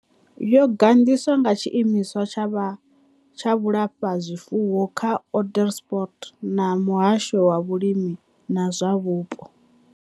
Yo gandiswa nga Tshiimiswa tsha Vhulafha zwifuwo tsha Onderstepoort na Muhasho wa Vhulimi na zwa Vhupo.